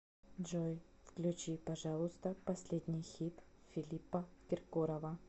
джой включи пожалуйста последний хит филиппа киркорова